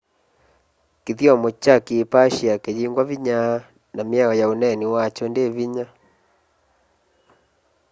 kithyomo kya kiipashia kiyingwa vinya na miao ya uneeni wakyo ndi vinya